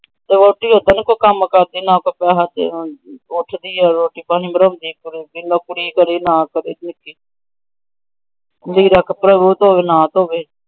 ਤੇ ਵਹੁਟੀ ਓਦੇਂ ਨਹੀਂ ਕੰਮ ਕਰਦੀ ਤੇ ਨਾ ਕੋਈ ਪੁੱਛਦੀ ਰੋਟੀ ਪਾਣੀ ਬਨਾਉਂਦੀ। ਕੁੜੀ ਦਾ ਕੱਪੜਾ ਉਹ ਧੋਵੈ ਨਾ ਧੋਵੈ।